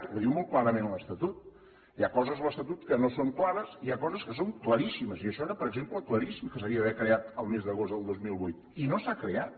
ho diu molt clarament l’estatut hi ha coses a l’estatut que no són clares i hi ha coses que són claríssimes i això era per exemple claríssim que s’havia d’haver creat el mes d’agost del dos mil vuit i no s’ha creat